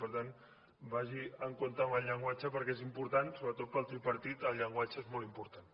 per tant vagi en compte amb el llenguatge perquè és important sobretot per al tripartit el llenguatge és molt important